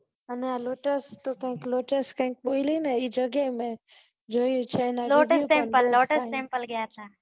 અને અમે તો lotus કે કાયિક lotus કાય એ જગ્યાએ મેં જોયું છે ને